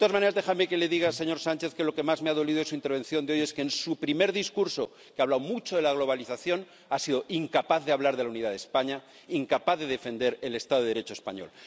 De todas maneras, déjeme que le diga, señor Sánchez, que lo que más me ha dolido de su intervención de hoy es que en su primer discurso, en el que ha hablado mucho de la globalización, ha sido incapaz de hablar de la unidad de España, incapaz de defender el Estado de Derecho español.